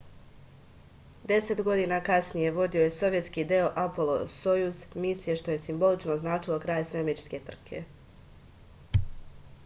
10 godina kasnije vodio je sovjetski deo apolo-sojuz misije što je simbolično označilo kraj svemirske trke